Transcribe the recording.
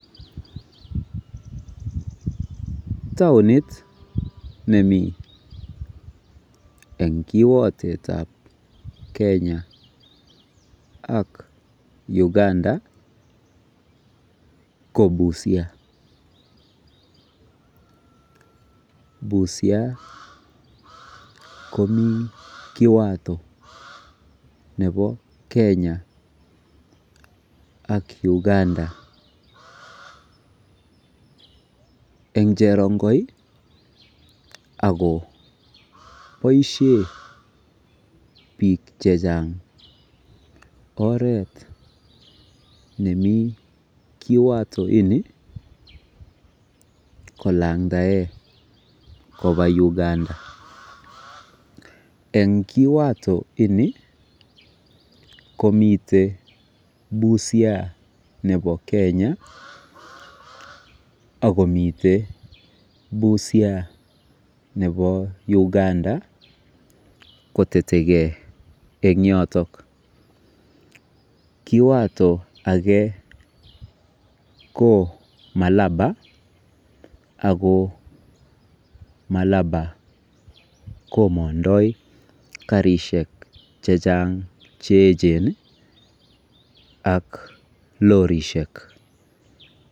Taonit nemi eng kiwatetab Kenya ak Uganda ko Busia. Busia komi kiwotwetab Kenya ak Uganda eng cherongoi ako boisie biik mising oret nemi kiwatopini kolandae kopa uganda. Eng kiwatoini komite Busia nebo Kenya akomite Busia nebo Uganda kotetekei eng yoto. kiwato ake ko Malaba ako Malaba komondoi karisiek chechaang cheechen ak lorishek.